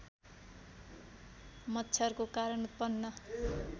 मच्छरको कारण उत्पन्न